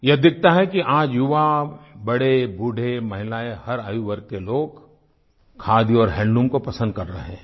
यह दिखता है कि आज युवा बड़ेबूढ़े महिलाएँ हर आयु वर्ग के लोग खादी और हैंडलूम को पसन्द कर रहे हैं